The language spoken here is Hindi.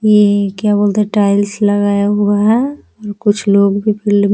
ये क्या बोलते है टाइल्स लगाया हुआ है कुछ लोग भी --